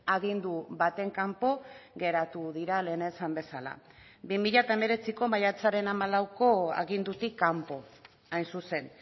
agindu baten kanpo geratu dira lehen esan bezala bi mila hemeretziko maiatzaren hamalauko agindutik kanpo hain zuzen